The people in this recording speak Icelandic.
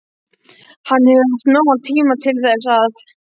Hann hefur haft nógan tíma til þess að.